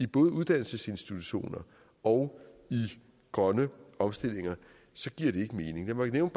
både uddannelsesinstitutioner og grønne omstillinger så giver det ikke mening lad mig nævne